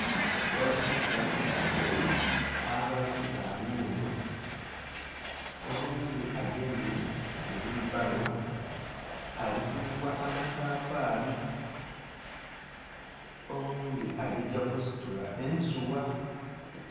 Abavubuka abali kutanhulu oghundhi agemye egheri bbalo alikuyugha amatafali oghundhi alikugya kusitula ensugha.